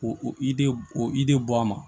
O o i de o i de bɔ a ma